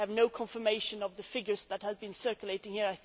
We have no confirmation of the figures that have been circulating here.